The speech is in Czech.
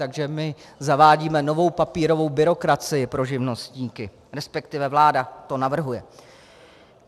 Takže my zavádíme novou papírovou byrokracii pro živnostníky, respektive vláda to navrhuje.